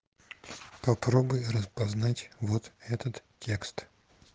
попробуй распознать вот этот текст